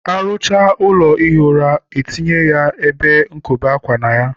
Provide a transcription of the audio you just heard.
ar ụchaa ụlọ ihi ụra, e tinye ebe nkobe ákwà na ya